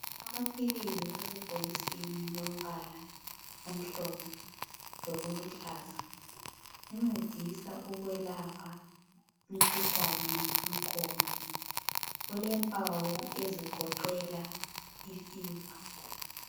Amaphilizi asebhokisini lombala omhlophe lokuhlaza ancedisa ukwelapha umkhuhlane wenkomo. Ulempawu ezigoqela ifever.